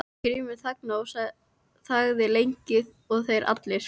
Grímur þagnaði og þagði lengi og þeir allir.